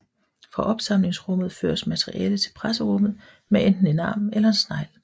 Fra opsamlingsrummet føres materialet til presserummet med enten en arm eller en snegl